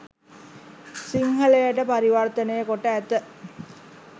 සිංහලයට පරිවර්තනය කොට ඇත.